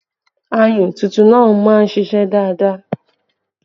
Ayùn tuntun máa ń ṣíṣe dáadáa